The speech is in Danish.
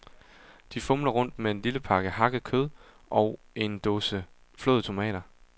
De fumler rundt med en lille pakke hakket kød ogen dåse flåede tomater.